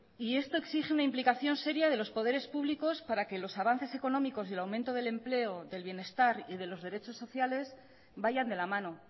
y esto exige una implicación seria de los poderes públicos para que los avances económicos y el aumento del empleo del bienestar y de los derechos sociales vayan de la mano